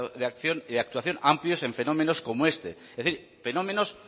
de acción y de actuación amplios en fenómenos como este es decir fenómenos